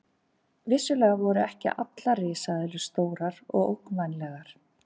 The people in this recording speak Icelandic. Vissulega voru ekki allar risaeðlur stórar og ógnvænlegar.